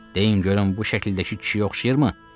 Deyin görüm bu şəkildəki kişiyə oxşayırmı?